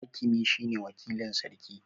Hakimi shine wakilin Sarki